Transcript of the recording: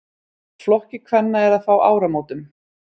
Flokki kvenna er fá áramótum.